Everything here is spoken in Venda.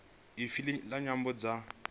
ya ifa la nyambo dza